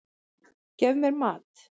Gef mér mat!